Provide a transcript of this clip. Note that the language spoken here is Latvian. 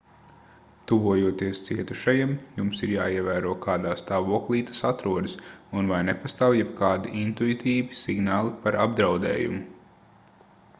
tuvojoties cietušajam jums ir jāievēro kādā stāvoklī tas atrodas un vai nepastāv jebkādi intuitīvi signāli par apdraudējumu